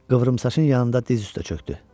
Qıvrımsaçın yanında diz üstə çökdü.